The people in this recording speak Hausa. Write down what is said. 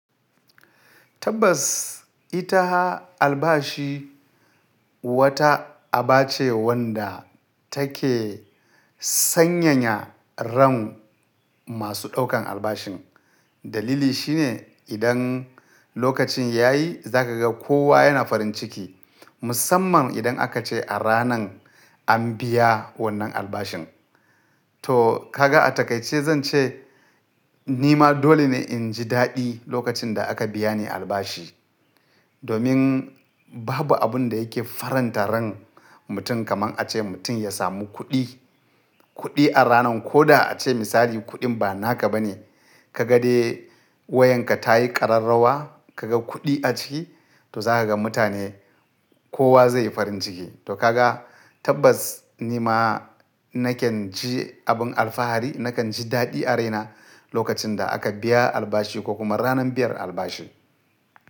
Tabbas ita albashi wata aba ce wanda take sanyaya ran masu ɗaukan albashin. Dalili shine idan lokacin yayi za kaga kowa yana farin ciki musamman idan aka ce a ranan an biya wannan albashin. To ka ga a takaice zan ce nima dole ne in ji daɗi lokacin da aka biya ni albashi. Domin babu abun da yake faranta ran mutum kamar a ce mutum ya samu kuɗi. Kuɗi a ranan ko da a ce misali kuɗin ba naka ba ne ka ga dai wayanka ta yi ƙararrawa kaga kuɗi a ciki to za ka ga mutane kowa zai yi farin ciki. To kaga tabbas nima nakan ji abin alfahari nakan ji daɗi a raina lokacin da aka biya albashi ko kuma ranan biyan albashi.